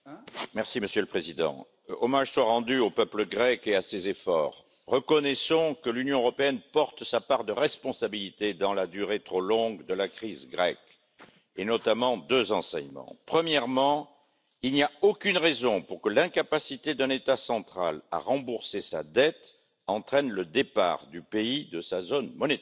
Monsieur le Président, Monsieur le Premier ministre, hommage soit rendu au peuple grec et à ses efforts. Reconnaissons que l'Union européenne porte sa part de responsabilité dans la durée trop longue de la crise grecque, et tirons notamment deux enseignements. Premièrement, il n'y a aucune raison pour que l'incapacité d'un État central à rembourser sa dette entraîne le départ du pays de sa zone monétaire.